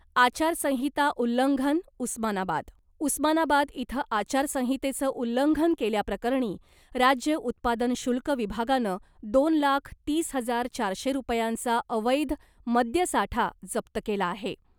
आचारसंहिता उल्लंघन, उस्मानाबाद, उस्मानाबाद इथं आचारसंहितेचं उल्लंघन केल्याप्रकरणी राज्य उत्पादन शुल्क विभागानं दोन लाख तीस हजार चारशे रुपयांचा अवैध मद्यसाठा जप्त केला आहे .